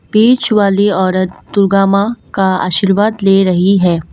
बीच वाली औरत दुर्गा मां का आशीर्वाद ले रही है।